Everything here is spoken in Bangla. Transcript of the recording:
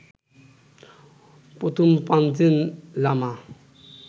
প্রথম পাঞ্চেন লামা